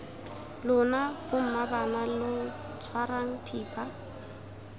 lona bommaabana lo tshwarang thipa